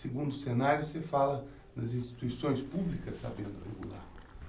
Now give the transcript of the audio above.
Segundo cenário, você fala das instituições públicas sabendo regular.